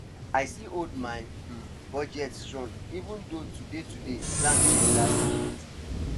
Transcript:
i still hold my um budget strong even though today today plan change last minute